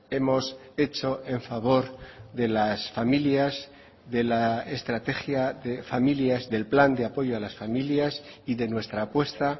hemos hecho en favor de las familias de la estrategia de familias del plan de apoyo a las familias y de nuestra apuesta